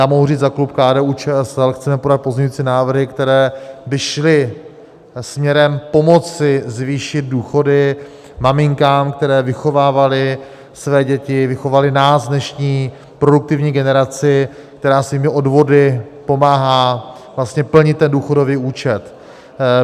Já mohu říct za klub KDU-ČSL, chceme podat pozměňující návrhy, které by šly směrem pomoci zvýšit důchody maminkám, které vychovávaly své děti, vychovaly nás, dnešní produktivní generaci, která svými odvody pomáhá vlastně plnit ten důchodový účet.